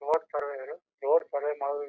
road surveyor road survey ಮಾಡೋ --